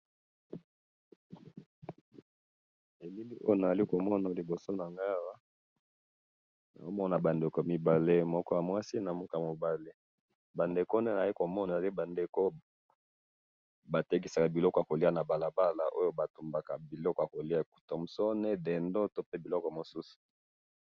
Elili oyo nazali komona liboso nanga awa, nazomona bandeko mibale, moko yamwasi, moko yamobali, bandeko oyo nazali komona ezali bandeko batekisaka biloko yakoliya na balabala oyo batumbaka biloko yakoliya, tomsone dendo tope biloko mususu.